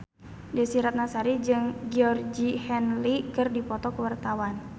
Desy Ratnasari jeung Georgie Henley keur dipoto ku wartawan